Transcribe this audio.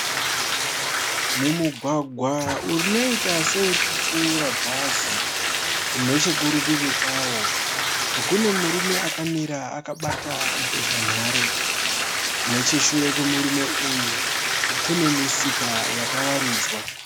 Mumugwagwa unoita seurikupfura bhazi. Nechekurivi kwawo kune murume akamira akabata mbozhanhare. Necheshure kwemurume uyu kune misika yakawaridzwa.